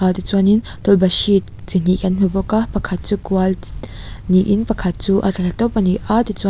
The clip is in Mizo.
tichuanin tawlhpahrit chi hnih kan hmu bawk a pakhat chu kual niin pakhat chu a thla tawp ani a tichua--